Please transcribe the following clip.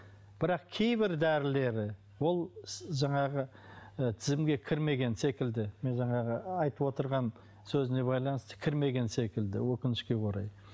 бірақ кейбір дәрілері ол жаңағы ы тізімге кірмеген секілді мен жаңағы айтып отырған сөзіне байланысты кірмеген секілді өкінішке орай